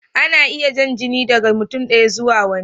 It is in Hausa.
Ana iya jan jini daga mutum ɗaya zuwa wani.